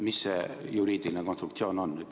Mis see juriidiline konstruktsioon on?